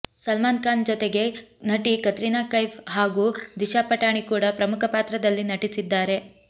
ಸಲ್ಮಾನ್ ಖಾನ್ ಜೊತೆಗೆ ನಟಿ ಕತ್ರಿನಾ ಕೈಫ್ ಹಾಗೂ ದಿಶಾ ಪಠಾಣಿ ಕೂಡಾ ಪ್ರಮುಖ ಪಾತ್ರದಲ್ಲಿ ನಟಿಸಿದ್ದಾರೆ